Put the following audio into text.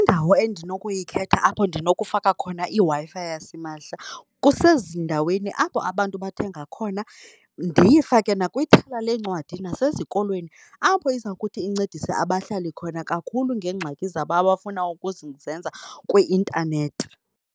Indawo endinokuyikhetha apho ndinokufaka khona iWi-Fi yasimahla kusezindaweni apho abantu bathenga khona, ndiyifake nakwithala leencwadi, nasezikolweni apho iza kuthi incedise abahlali khona kakhulu ngeengxaki zabo abafuna zenza kwi-intanethi.